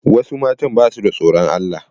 Wasu matan ba suda tsoron Allah.